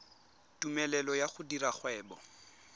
tumelelo ya go dira kgwebo